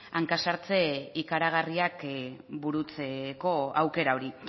hanka sartze ikaragarriak burutzeko aukera hori